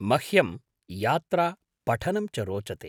मह्मं यात्रा, पठनं च रोचते।